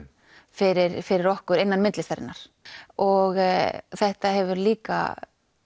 fyrir fyrir okkur innan myndlistarinnar og þetta hefur líka